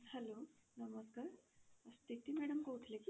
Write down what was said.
hello ନମସ୍କାର ସ୍ଥିତି madam କହୁଥିଲେ କି?